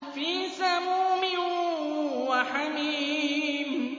فِي سَمُومٍ وَحَمِيمٍ